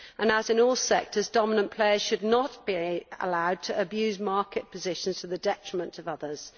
As in all sectors, dominant players should not be allowed to abuse market positions to the detriment of others.